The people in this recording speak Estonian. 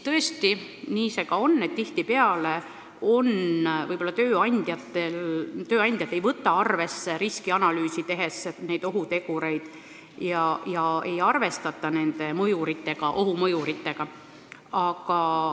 Tõesti, nii see on, tihtipeale ei võta tööandjad riskianalüüsi tehes arvesse ohutegureid ega arvestata nende mõjuritega, ohumõjuritega.